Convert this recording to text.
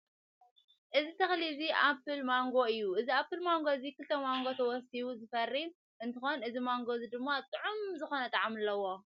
እዚ ተክሊ እዚ ኣምፕል ማንጎ እዩ። እዚ ኣምፕል ማንጎ እዚ ክልተ ማንጎ ተዋሲቡ ዝፈሪ እንትኮን እዚ ማንጎ እዚ ድማ ጥዑም ዝኮነ ጣዕሚ ኣለዎ።